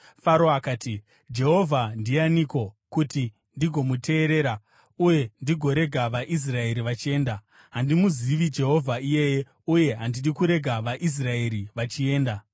Faro akati, “Jehovha ndianiko, kuti ndigomuteerera uye ndigorega vaIsraeri vachienda? Handimuzivi Jehovha iyeye uye handidi kurega vaIsraeri vachienda.”